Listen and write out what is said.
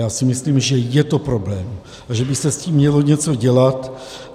Já si myslím, že je to problém a že by se s tím mělo něco dělat.